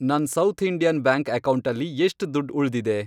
ನನ್ south Indian bank ಅಕೌಂಟಲ್ಲಿ ಎಷ್ಟ್ ದುಡ್ಡ್ ಉಳ್ದಿದೆ?